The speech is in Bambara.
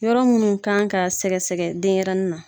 Yɔrɔ munnu kan ka sɛgɛ sɛgɛ denɲɛrɛnin na.